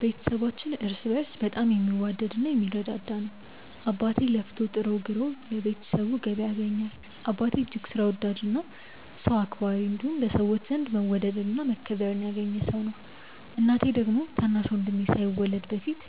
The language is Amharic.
ቤተሰባችን እርስ በእርስ በጣም የሚዋደድ እና የሚረዳዳ ነው። አባቴ ለፍቶ ጥሮ ግሮ ለቤተሰቡ ገቢ ያስገኛል። አባቴ እጅግ ሥራ ወዳድ እና ሰው አክባሪ እንዲሁም በሰዎች ዘንድ መወደድን እና መከበርን ያገኘ ሰው ነው። እናቴ ደግሞ ታናሽ ወንድሜ ሳይወለድ በፊት